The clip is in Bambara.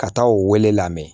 Ka taa o wele lamɛn